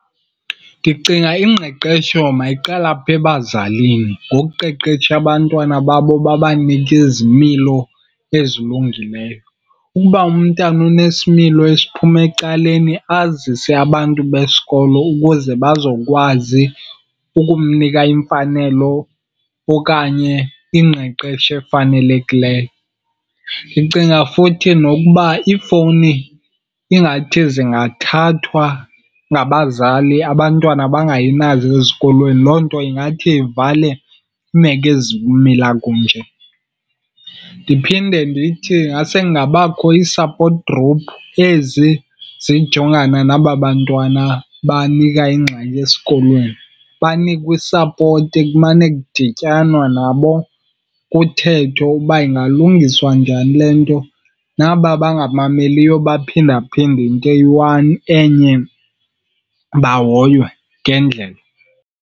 Ndicinga ingqeqesho mayiqale apha ebazalini ngokuqeqesha abantwana babo babanike izimilo ezilungileyo. Ukuba umntana unesimilo esiphuma ecaleni azise abantu besikolo ukuze bazokwazi ukumnika iimfanelo okanye ingqeqesho efanelekileyo. Ndicinga futhi nokuba iifowuni ingathi zingathathwa ngabazali, abantwana bangayi nazo ezikolweni' Loo nto ingathi ivale iimeko ezikumila kunje. Ndiphinde ndithi ingase kungabakho ii-support group ezi zijongana naba bantwana banika ingxaki esikolweni. Banikwe isapoti, kumane kudityanwa nabo kuthethwe uba ingalungiswa njani le nto. Naba bangamameliyo baphindaphinda into eyi-one, enye, bahoywe ngendlela.